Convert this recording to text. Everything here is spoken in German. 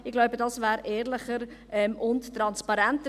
Ich glaube, das wäre ehrlicher und transparenter.